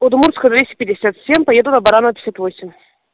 удмуртская двести пятьдесят семь поеду на баранова пятьдесят восемь